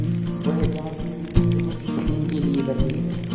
वह जानती थी कि वह इसी दिन के लिए बनी है